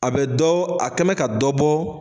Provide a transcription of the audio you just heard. A bɛ dɔ a kɛmɛ ka dɔ bɔ.